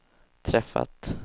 träffat